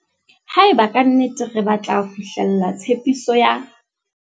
Haeba ka nnete re batla fihlella tshepiso ya